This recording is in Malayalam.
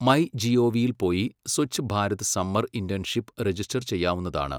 മൈ ജിഒവിയിൽ പോയി Swachh Bharat summer internship register ചെയ്യാവുന്നതാണ്.